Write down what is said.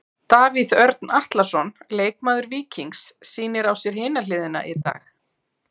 Davíð Örn Atlason, leikmaður Víkings sýnir á sér hina hliðina í dag.